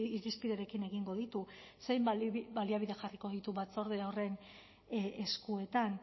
irizpiderekin egingo ditu zein baliabide jarriko ditu batzorde horren eskuetan